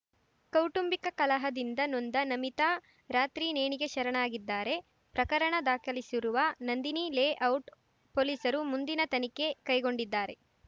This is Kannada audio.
ಕೌಟುಂಬಿಕ ಕಲಹದಿಂದ ನೊಂದ ನಮಿತಾ ರಾತ್ರಿ ನೇಣಿಗೆ ಶರಣಾಗಿದ್ದಾರೆ ಪ್ರಕರಣ ದಾಖಲಿಸಿರುವ ನಂದಿನಿ ಲೇಔಟ್ ಪೊಲೀಸರು ಮುಂದಿನ ತನಿಖೆ ಕೈಗೊಂಡಿದ್ದಾರೆ